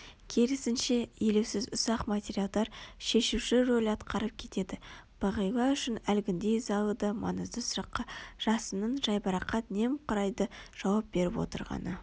керісінше елеусіз ұсақ материалдар шешуші роль атқарып кетеді бағила үшін әлгіндей ызалы да маңызды сұраққа жасынның жайбарақат немқұрайды жауап беріп отырғаны